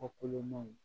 Kɔ kolonmaw